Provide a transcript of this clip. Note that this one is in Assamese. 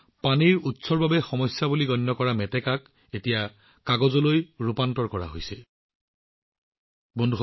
তেওঁলোকে পানীৰ হাইচিন্থৰ পৰা কাগজ তৈয়াৰ কৰাৰ ওপৰত কাম কৰি আছে অৰ্থাৎ পানীৰ উৎসৰ বাবে এসময়ত সমস্যা হিচাপে বিবেচিত হোৱা পানীৰ হাইচিন্থ এতিয়া কাগজ তৈয়াৰ কৰিবলৈ ব্যৱহাৰ কৰা হৈছে